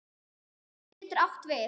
Úlfur getur átt við